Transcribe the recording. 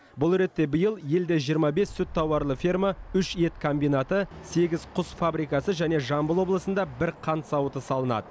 бұл ретте биыл елде жиырма бес сүт тауарлы ферма үш ет комбинаты сегіз құс фабрикасы және жамбыл облысында бір қант зауыты салынады